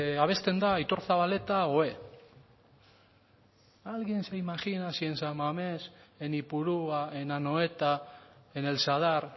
abesten da aitor zabaleta oé alguien se imagina si en san mamés en ipurua en anoeta en el sadar